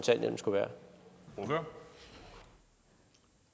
øre